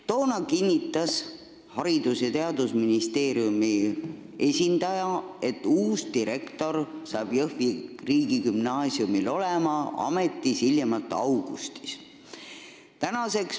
Toona kinnitas Haridus- ja Teadusministeeriumi esindaja, et Jõhvi riigigümnaasium saab uue direktori hiljemalt augustis.